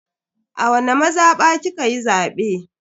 A wani mazaba kikayi zabe?